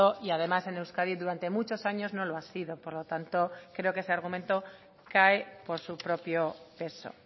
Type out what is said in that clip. y además en euskadi durante muchos años no lo ha sido por lo tanto creo que ese argumento cae por su propio peso